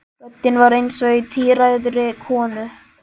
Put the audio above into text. Röddin var eins og í tíræðri konu.